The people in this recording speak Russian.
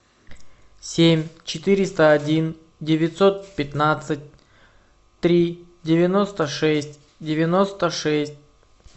семь четыреста один девятьсот пятнадцать три девяносто шесть девяносто шесть